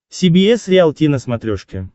си би эс риалти на смотрешке